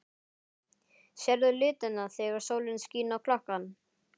Sérðu litina þegar sólin skín á klakann?